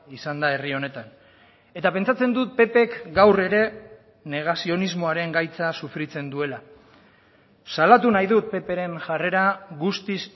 izan da herri honetan eta pentsatzen dut ppk gaur ere negazionismoaren gaitza sufritzen duela salatu nahi dut ppren jarrera guztiz